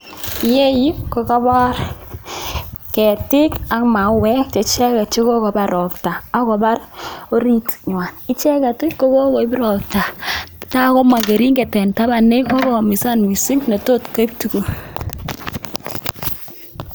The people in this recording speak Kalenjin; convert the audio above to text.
Iyeyu ko kobor ketik ak mauek cheicheket chekokobar robta ak kobar oritnywan, icheket kokobir raobta takomong kering'et en taban, kokoumisan mising netotkoib tukuk.